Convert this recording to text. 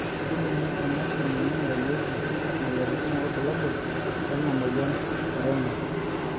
kelimu emashini naingurarieki imoyiaritin irbulabol lena moyian e Renal